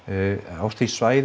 á því svæði